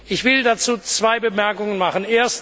Ich will dazu zwei Bemerkungen machen.